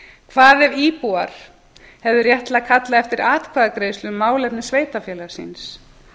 hvað ef íbúar hefðu rétt til að kalla eftir atkvæðagreiðslu um málefni sveitarfélags síns